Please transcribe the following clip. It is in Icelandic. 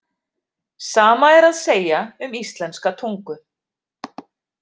Sama er að segja um íslenska tungu.